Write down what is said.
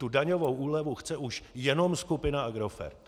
Tu daňovou úlevu chce už jenom skupina Agrofert.